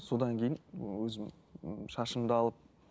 содан кейін ііі өзім шашымды алып